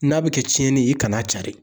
N'a bɛ kɛ tiɲɛni i kan'a carin